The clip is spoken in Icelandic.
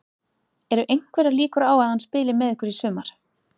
Eru einhverjar líkur á að hann spili með ykkur í sumar?